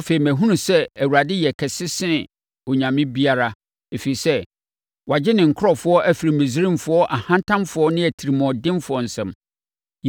Afei, mahunu sɛ Awurade yɛ kɛse sene onyame biara, ɛfiri sɛ, wagye ne nkurɔfoɔ afiri Misraimfoɔ ahantanfoɔ ne atirimuɔdenfoɔ nsam.”